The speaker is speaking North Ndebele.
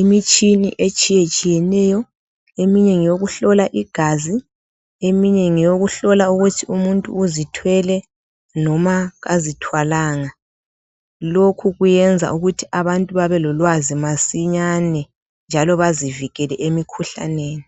imitshina etshiyetshiyeneyo. Eminye ngeyokuhlola igazi, eminye ngeyokuhlola ukuthi umuntu uzithwele noma kazithwalanga. Lokhu kuyenza ukuthi abantu babe lolwazi masinyane njalo bazivikele emikhuhlaneni.